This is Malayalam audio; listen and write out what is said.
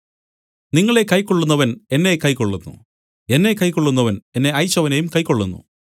നിങ്ങളെ കൈക്കൊള്ളുന്നവൻ എന്നെ കൈക്കൊള്ളുന്നു എന്നെ കൈക്കൊള്ളുന്നവൻ എന്നെ അയച്ചവനെയും കൈക്കൊള്ളുന്നു